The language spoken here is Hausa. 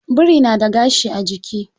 Biri na da gashi a jiki.